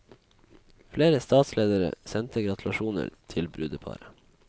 Flere statsledere sendte gratulasjoner til brudeparet.